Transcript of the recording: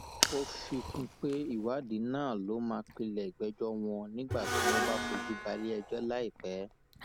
ó fi kún un pé ìwádìí náà ló máa pilẹ ìgbẹjọ wọn nígbà tí wọn bá fojú balẹẹjọ láìpẹ